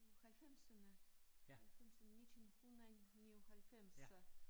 Uh halvfemserne halvfemser 1999